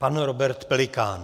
Pan Robert Pelikán.